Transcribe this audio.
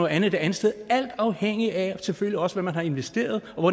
andet det andet sted alt afhængigt af selvfølgelig også hvad man har investeret og